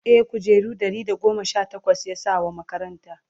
e kujeru Ɗari da goma Sha takwas yasaya wa makaranta